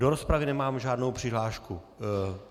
Do rozpravy nemám žádnou přihlášku.